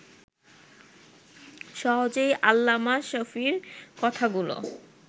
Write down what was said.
সহজেই আল্লামা শফীর কথাগুলো